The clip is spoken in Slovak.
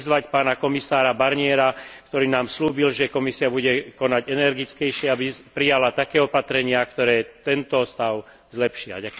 Chcem vyzvať pána komisára Barniera, ktorý nám sľúbil, že Komisia bude konať energickejšie, aby prijala také opatrenia, ktoré tento stav zlepšia.